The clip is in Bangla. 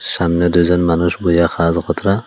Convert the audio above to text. সামনে দুইজন মানুষ বোয়া খালো খতরা।